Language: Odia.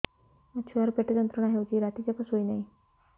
ମୋ ଛୁଆର ପେଟ ଯନ୍ତ୍ରଣା ହେଉଛି ରାତି ଯାକ ଶୋଇନାହିଁ